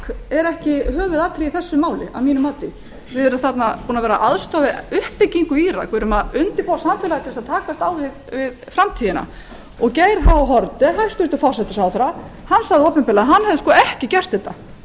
er ekki höfuðatriðið í þessu máli að mínu mati við erum þarna búin að vera að aðstoða við uppbyggingu í írak við erum að undirbúa samfélagið til að takast á við framtíðina geir h haarde hæstvirtur forsætisráðherra hann sagði opinberlega að hann hefði ekki gert þetta